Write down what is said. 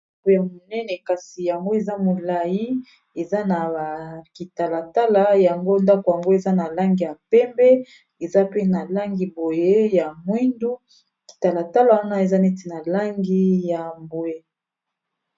Ndako ya monene kasi yango eza molai eza na kitalatala yango ndako yango eza na langi ya pembe eza pe na langi boye ya mwindu kitalatala wana eza neti na langi ya mbwe.